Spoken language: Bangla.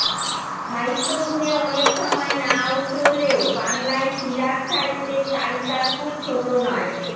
সাহিত্য গুণে অনেক সময় না উতরোলেও বাংলায় সিরাত সাহিত্যের তালিকা খুব ছোট নয়